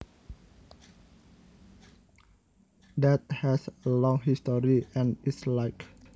that has a long history and is liked